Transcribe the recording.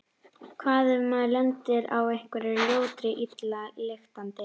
Hvað ef maður lendir á einhverri ljótri og illa lyktandi?